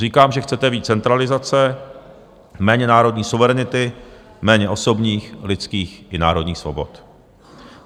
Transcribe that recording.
Říkám, že chcete víc centralizace, méně národní suverenity, méně osobních, lidských i národních svobod.